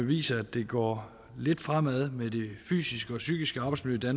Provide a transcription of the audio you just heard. viser at det går lidt fremad med det fysiske og psykiske arbejdsmiljø